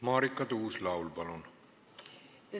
Marika Tuus-Laul, palun!